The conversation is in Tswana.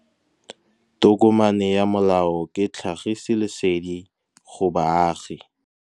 Tokomane ya molao ke tlhagisi lesedi go baagi.